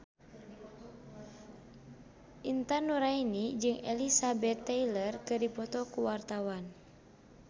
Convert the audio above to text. Intan Nuraini jeung Elizabeth Taylor keur dipoto ku wartawan